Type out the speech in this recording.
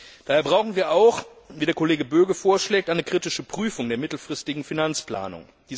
Daher brauchen wir auch, wie der Kollege Böge vorschlägt, eine kritische Prüfung der mittelfristigen Finanzplanung.